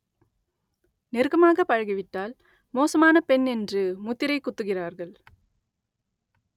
நெருக்கமாக பழகிவிட்டால் மோசமான பெண் என்று முத்திரை குத்துகிறார்கள்